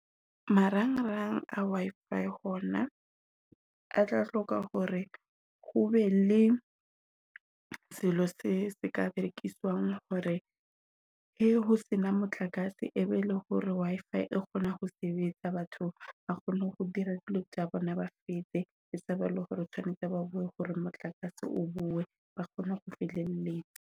Marang-rang a Wi-fi hona a tla hloka hore ho be le selo se se ka rekiswang hore he ho se na motlakase e bele hore Wi-fi e kgona ho sebetsa. Batho ba kgone ho dira dilo tsa bona ba fetse e sa ba le hore o tshwanetse ba boe hore motlakase o boe ba kgone ho feleletsa.